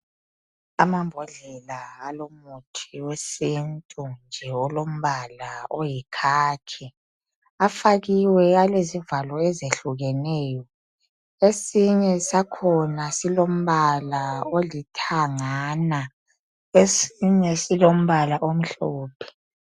Amambodlela alomuthi wesintu nje alombala wekhakhi afakiwe alezivalo ezehlukeneyo. Esinye sakhona silombala olithangana. Esinye silombala omhlophe.